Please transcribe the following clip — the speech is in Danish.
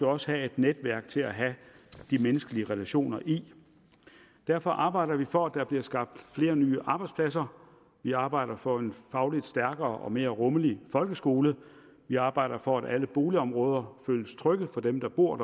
også have et netværk til at have de menneskelige relationer i derfor arbejder vi for at der bliver skabt flere nye arbejdspladser vi arbejder for en fagligt stærkere og mere rummelig folkeskole vi arbejder for at alle boligområder føles trygge for dem der bor